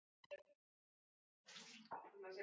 Takk fyrir hjartað þitt.